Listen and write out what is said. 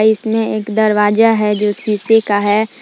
इसमें एक दरवाजा है जो शीशे का हैं।